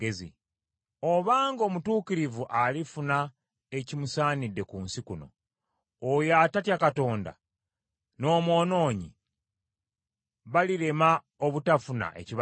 Obanga omutuukirivu alifuna ekimusaanidde ku nsi kuno, oyo atatya Katonda n’omwonoonyi balirema obutafuna ekibasaanidde?